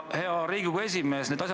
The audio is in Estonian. Hea Riigikogu esimees!